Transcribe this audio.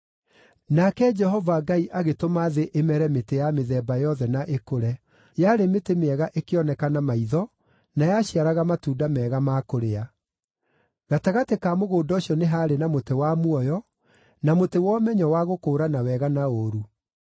Nake Jehova Ngai agĩtũma thĩ ĩmere mĩtĩ ya mĩthemba yothe na ĩkũre. Yarĩ mĩtĩ mĩega ĩkĩoneka na maitho na yaciaraga matunda mega ma kũrĩa. Gatagatĩ ka mũgũnda ũcio nĩ haarĩ na mũtĩ wa muoyo, na mũtĩ wa ũmenyo wa gũkũũrana wega na ũũru.